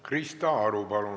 Krista Aru, palun!